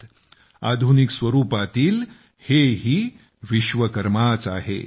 हे सुद्धा आधुनिक विश्वकर्माच आहेत